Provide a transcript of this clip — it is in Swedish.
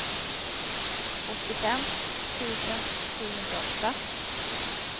åttiofem tusen sjuhundraåtta